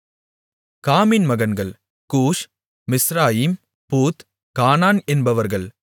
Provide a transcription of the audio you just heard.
காமின் மகன்கள் கூஷ் மிஸ்ராயிம் பூத் கானான் என்பவர்கள்